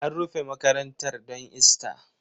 An rufe makarantar don Ista